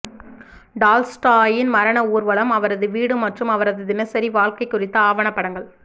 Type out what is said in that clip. டால்ஸ்டாயின் மரண ஊர்வலம் அவரது வீடு மற்றும் அவரது தினசரி வாழ்க்கை குறித்த ஆவணப்படங்கள்